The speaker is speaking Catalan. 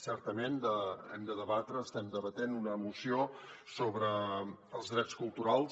certament estem debatent una moció sobre els drets culturals